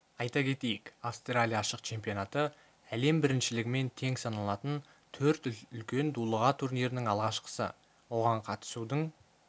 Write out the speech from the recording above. айта кетейік австралия ашық чемпионаты әлем біріншілігімен тең саналатын төрт үлкен дулыға турнирінің алғашқысы оған қатысудың